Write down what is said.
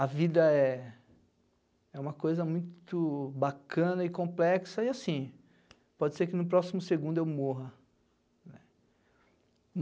A vida é é uma coisa muito bacana e complexa e, assim, pode ser que no próximo segundo eu morra.